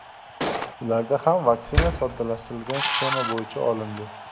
Ularda ham vaksina soddalashtirilgan sxema bo‘yicha olindi.